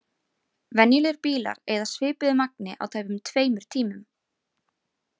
Venjulegir bílar eyða svipuðu magni á tæpum tveimur tímum.